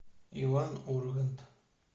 иван ургант